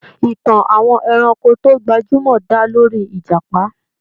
Ìtàn àwọn ẹranko tó gbajúmọ̀ dá lórí ìjàpá.